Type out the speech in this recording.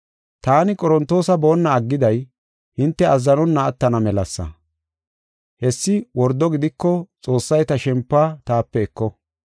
Taani Qorontoosa boonna aggiday hinte azzanonna attana melasa; hessi wordo gidiko Xoossay ta shempuwa taape eko.